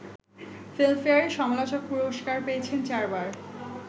ফিল্মফেয়ারে সমালোচক পুরস্কার পেয়েছেন চারবার